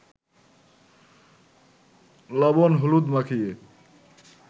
লবণ-হলুদ মাখিয়ে